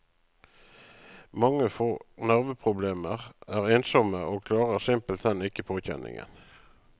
Mange får nerveproblemer, er ensomme, og klarer simpelthen ikke påkjenningen.